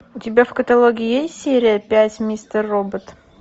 у тебя в каталоге есть серия пять мистер робот